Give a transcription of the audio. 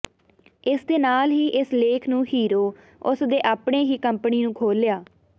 ਇਸ ਦੇ ਨਾਲ ਹੀ ਇਸ ਲੇਖ ਨੂੰ ਹੀਰੋ ਉਸ ਦੇ ਆਪਣੇ ਹੀ ਕੰਪਨੀ ਨੂੰ ਖੋਲ੍ਹਿਆ